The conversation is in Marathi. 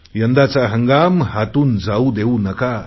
यंदाचा हंगाम हातून जाऊ देऊ नका